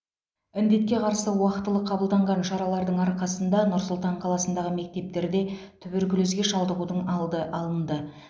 індетке қарсы уақытылы қабылданған шаралардың арқасында нұр сұлтан қаласындағы мектептерде туберкулезге шалдығудың алды алынды